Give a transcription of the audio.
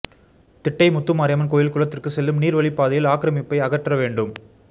திட்டை முத்துமாரியம்மன் கோயில் குளத்திற்கு செல்லும் நீர்வழி பாதையில் ஆக்ரமிப்பை அகற்ற வேண்டும்